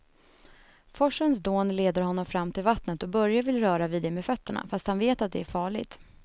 Forsens dån leder honom fram till vattnet och Börje vill röra vid det med fötterna, fast han vet att det är farligt.